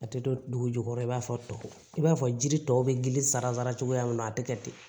A tɛ don dugu jukɔrɔ i b'a fɔ to i b'a fɔ jiri tɔ bɛ gili sara cogoya min na a tɛ kɛ ten